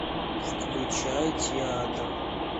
включай театр